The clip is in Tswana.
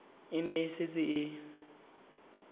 e ne e setse e